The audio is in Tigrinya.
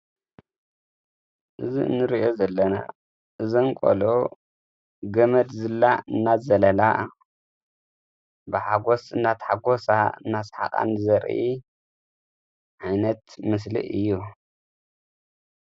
እዚ እንርእዮ ዘለና እዘን ቆልዑት ገመድ ዝላ እናዘለላ ብታሓጐስ እናተሓጐሳ እናሰሓቓን ዘርኢ ዓይነት ምስሊ እዩ፡፡